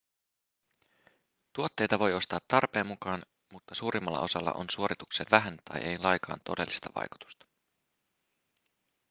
tuotteita voi ostaa tarpeen mukaan mutta suurimmalla osalla on suoritukseen vähän tai ei lainkaan todellista vaikutusta